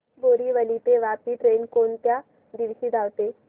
बोरिवली ते वापी ट्रेन कोण कोणत्या दिवशी धावते